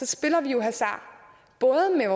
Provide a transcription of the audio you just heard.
spiller vi jo hasard både med